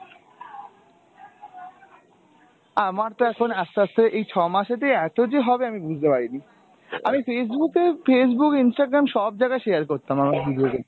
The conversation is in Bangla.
আমার তো এখন আস্তে আস্তে এই ছ মাসে যে এতো যে হবে আমি বুঝতে পারিনি, আমি Facebook এও Facebook , Instagram সব জায়গায় share করতাম আমার video link।